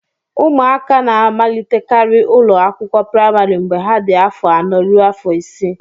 ụmụaka na-amalitekarị ụlọ akwụkwọ praịmarị mgbe ha dị afọ anọ ruo afọ isii